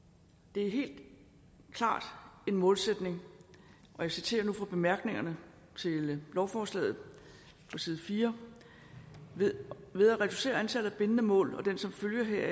det er helt klart en målsætning og jeg citerer nu fra bemærkningerne til lovforslaget side 4 ved ved at reducere antallet af bindende mål og den som følge